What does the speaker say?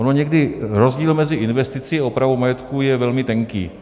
Ono někdy rozdíl mezi investicí a opravou majetku je velmi tenký.